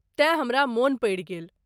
तेँ हमरा मोन पड़ि गेल।